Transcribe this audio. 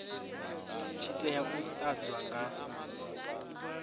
tshi tea u ḓadzwa nga